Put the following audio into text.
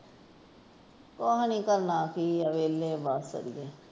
ਕੁਛ ਨਹੀਂ ਕਰਨਾ ਕਿ ਏ ਵੇਹਲੇ ਆ ਬੱਸ।